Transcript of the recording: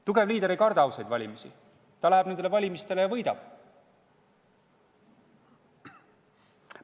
Tugev liider ei karda ausaid valimisi, ta läheb nendele valimistele ja võidab.